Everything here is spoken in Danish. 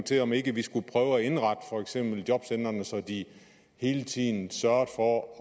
til om ikke vi skulle prøve indrette for eksempel jobcentrene så de hele tiden sørgede for at